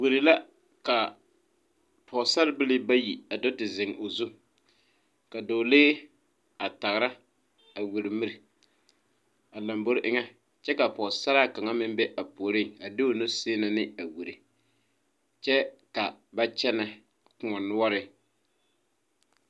Gbori la ka pɔgesarebilii bayi a do te zeŋ o zu ka dɔɔlee a tagera a wiri miri a lombori eŋa kyɛ ka pɔgesaraa kaŋa meŋ be a puoriŋ a de o nu seene ne a gbori kyɛ ka ba kyɛnɛ kõɔ noɔreŋ.